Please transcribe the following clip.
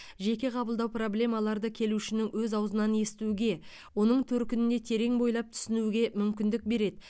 жеке қабылдау проблемаларды келушінің өз ауызынан естуге оның төркініне терең бойлап түсінуге мүмкіндік береді